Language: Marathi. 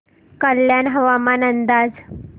कल्याण हवामान अंदाज